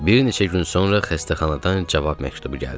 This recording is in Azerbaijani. Bir neçə gün sonra xəstəxanadan cavab məktubu gəldi.